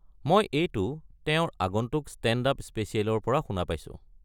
মই এইটো তেওঁৰ আগন্তুক ষ্টেণ্ড-আপ স্পেচিয়েলৰ পৰা শুনা পাইছোঁ।